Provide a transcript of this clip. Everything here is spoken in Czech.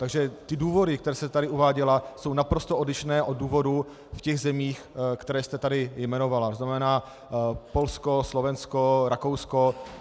Takže ty důvody, které jste tady uváděla, jsou naprosto odlišné od důvodů v těch zemích, které jste tady jmenovala, to znamená Polsko, Slovensko, Rakousko.